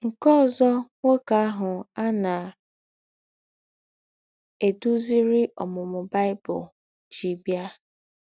Nkè òzò nwókè àhụ̀ à na - èdúzìrì Ǒmūmū Bible jí bịa.